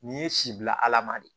Nin ye si bila ala ma de